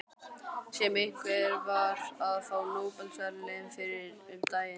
Sem einhver var að fá Nóbelsverðlaunin fyrir um daginn.